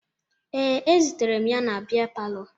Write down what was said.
Ee, ezutere m ya na bịa palọ